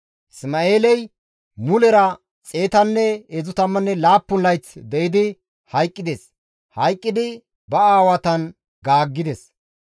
Isma7eeley mulera 137 layth de7idi hayqqides; hayqqidi ba aawatan gaaggides.